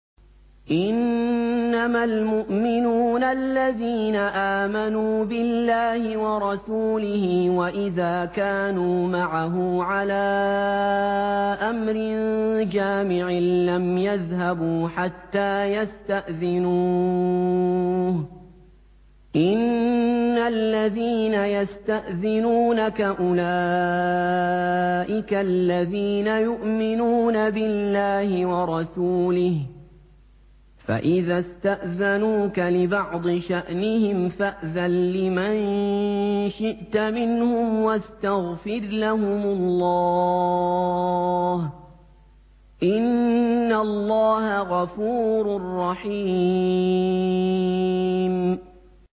إِنَّمَا الْمُؤْمِنُونَ الَّذِينَ آمَنُوا بِاللَّهِ وَرَسُولِهِ وَإِذَا كَانُوا مَعَهُ عَلَىٰ أَمْرٍ جَامِعٍ لَّمْ يَذْهَبُوا حَتَّىٰ يَسْتَأْذِنُوهُ ۚ إِنَّ الَّذِينَ يَسْتَأْذِنُونَكَ أُولَٰئِكَ الَّذِينَ يُؤْمِنُونَ بِاللَّهِ وَرَسُولِهِ ۚ فَإِذَا اسْتَأْذَنُوكَ لِبَعْضِ شَأْنِهِمْ فَأْذَن لِّمَن شِئْتَ مِنْهُمْ وَاسْتَغْفِرْ لَهُمُ اللَّهَ ۚ إِنَّ اللَّهَ غَفُورٌ رَّحِيمٌ